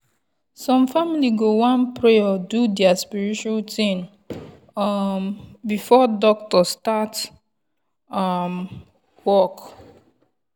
ah doctor and nurse suppose dey ask question wey show sey dem respect dia patient spiritual matter.